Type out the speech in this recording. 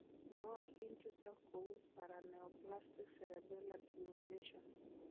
Nootin chutok kou paraneoplastic cerebellar degeneration.